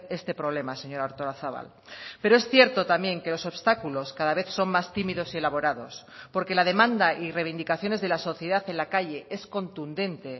este problema señora artolazabal pero es cierto también que los obstáculos cada vez son más tímidos y elaborados porque la demanda y reivindicaciones de la sociedad en la calle es contundente